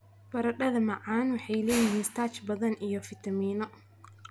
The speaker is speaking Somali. Baradheeda macaan waxay leeyihiin starch badan iyo fitamiinno.